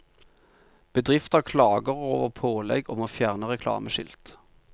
Bedrifter klager over pålegg om å fjerne reklameskilt.